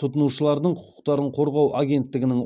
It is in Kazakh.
тұтынушылардың құқықтарын қорғау агенттігінің